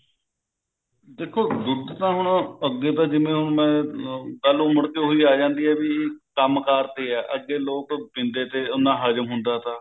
ਦੇਖੋ ਦੁੱਧ ਤਾਂ ਹੁਣ ਅੱਗੇ ਤਾਂ ਜਿਵੇਂ ਹੁਣ ਗੱਲ ਮੁੜ ਕੇ ਉਹੀ ਆ ਜਾਂਦੀ ਐ ਵੀ ਕੰਮ ਕਾਰ ਤੇ ਐ ਅੱਗੇ ਲੋਕ ਪੀਂਦੇ ਤੇ ਉਹਨਾਂ ਹਜਮ ਹੁੰਦਾ ਤਾ